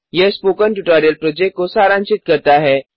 यह spoken tutorial project को सारांशित करता है